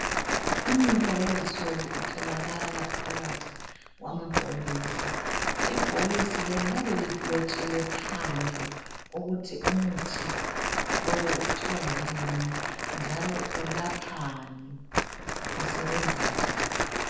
Umuthi wakulezi nsuku utholakala phakathi kwamabhokisi ibhokisi leli liyabe lilotshiwe phandle ukuthi umuthi lowu kuthiwa yini njalo ulaphani usebenza njani.